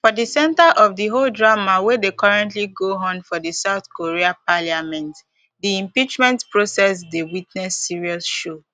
for di center of di whole drama wey dey currently go on for di south korea parliament di impeachment process dey witness serious show